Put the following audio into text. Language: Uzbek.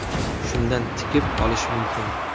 Shundan tikib olish mumkin.